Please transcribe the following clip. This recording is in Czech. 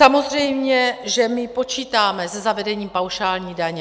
Samozřejmě že my počítáme se zavedením paušální daně.